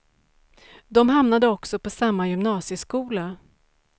De hamnade också på samma gymnasieskola.